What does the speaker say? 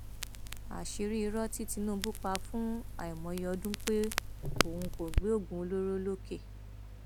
àṣírí irọ tí tinubu pa fún àìmọye ọdún pé òun kò gbé oògùn olóró lọkẹ